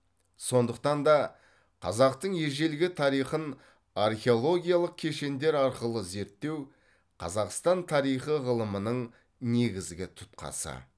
сондықтан да қазақтың ежелгі тарихын археологиялық кешендер арқылы зертеу қазақстан тарихы ғылымының негізгі тұтқасы